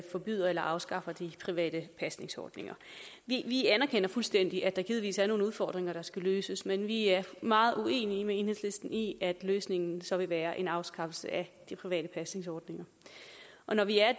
forbyder eller afskaffer de private pasningsordninger vi anerkender fuldstændig at der givetvis er nogle udfordringer der skal løses men vi er meget uenige med enhedslisten i at løsningen så vil være en afskaffelse af de private pasningsordninger at vi er